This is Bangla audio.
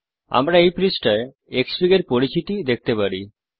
আমরা এই পৃষ্ঠায় Xfig এর পরিচিতি দেখতে পারি